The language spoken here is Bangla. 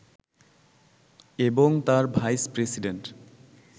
এবং তার ভাইস-প্রেসিডেন্ট